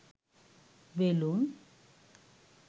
balloon